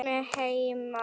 Sæmi heima!